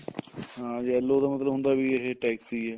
ਹਾਂ yellow ਦਾ ਮਤਲਬ ਹੁੰਦਾ ਵੀ ਇਹ taxi ਹੈ